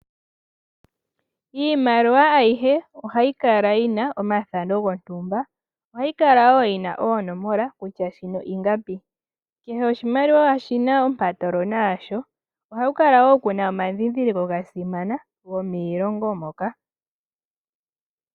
Iimaliwa ayihe ohayi kala yi na omathano gontumba ohayi kala woo yi na oonomola kutya shino ingapi. Kehe oshimaliwa oshina ompatolona yasho. Ohaku kala woo kuna omandhindhiliko ga simana gomiilongo moka.